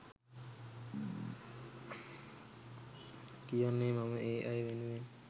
කියන්නේ මම ඒ අය වෙනුවෙන්